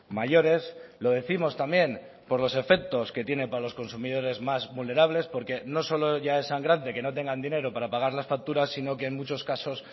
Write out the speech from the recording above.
mayores lo décimos también por los efectos que tiene para los consumidores más vulnerables porque no solo ya es sangrante que no tengan dinero para pagar las facturas sino que en muchos casos